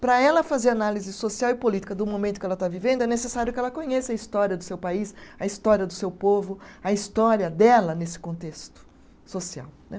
Para ela fazer análise social e política do momento que ela está vivendo, é necessário que ela conheça a história do seu país, a história do seu povo, a história dela nesse contexto social né.